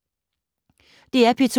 DR P2